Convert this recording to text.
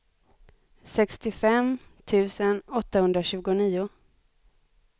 sextiofem tusen åttahundratjugonio